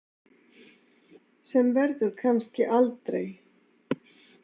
Sem verður kannski aldrei.